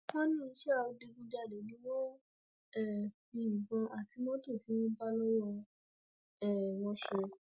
wọn ní iṣẹ adigunjalè ni wọn ń um fi ìbọn àti mọtò tí wọn bá lọwọ um wọn ṣe